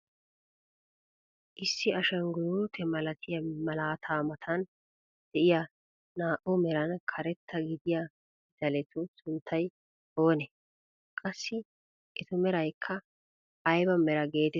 Issi ashanguluute milatiyaa malaataa matan de'iyaa naa"u meran karetta gidiyaa pitaletu sunttay oonee? Qassi etu meraykka ayba meraa getetti xeegetii?